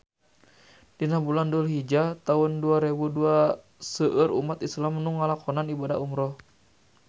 Dina bulan Dulhijah taun dua rebu dua seueur umat islam nu ngalakonan ibadah umrah